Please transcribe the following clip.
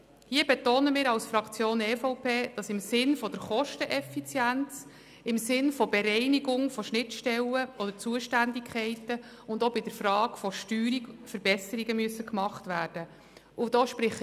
Hier betont die EVPFraktion, dass bezüglich der Kosteneffizienz, der Bereinigung von Schnittstellen oder Zuständigkeiten und auch bei der Frage der Steuerung Verbesserungen gemacht werden müssen.